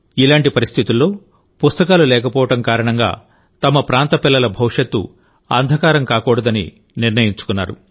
ఇలాంటి పరిస్థితుల్లో పుస్తకాలు లేకపోవడం కారణంగాతమ ప్రాంత పిల్లల భవిష్యత్తు అంధకారం కాకూడదని నిర్ణయించుకున్నారు